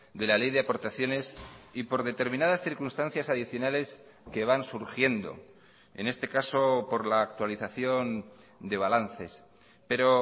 de la ley de aportaciones y por determinadas circunstancias adicionales que van surgiendo en este caso por la actualización de balances pero